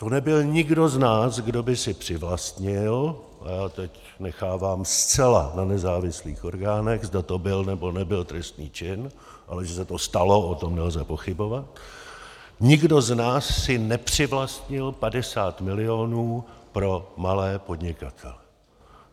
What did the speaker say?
To nebyl nikdo z nás, kdo by si přivlastnil - a já teď nechávám zcela na nezávislých orgánech, zda to byl, nebo nebyl trestný čin, ale že se to stalo, o tom nelze pochybovat - nikdo z nás si nepřivlastnil 50 milionů pro malé podnikatele.